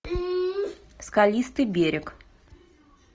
скалистый берег